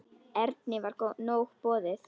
Erni var nóg boðið.